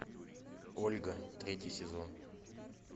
ольга третий сезон